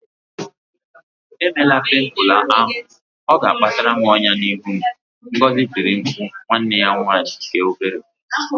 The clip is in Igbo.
Emela pimple ahụ! Ọ ga-akpata ọnyá n'ihu m, Ngozi tiri mkpu nwanne ya nwanyị nke obere